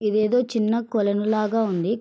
ఇదేదో చిన్న కొలను లాగా ఉంది.